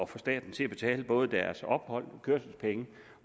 få staten til at betale både deres ophold kørselspenge